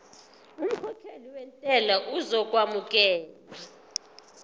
umkhokhi wentela uzokwamukelwa